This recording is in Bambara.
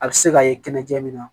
A bɛ se ka ye kɛnɛja min na